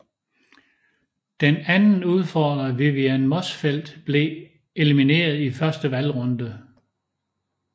Den anden udfordrer Vivian Motzfeldt blev elimineret i første valgrunde